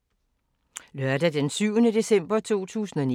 Lørdag d. 7. december 2019